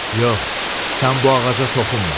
Yox, sən bu ağaca toxunma.